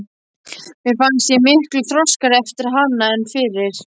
Mér fannst ég miklu þroskaðri eftir hana en fyrir.